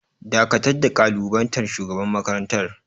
Dakatar da kalubalantar shugaban makarantar!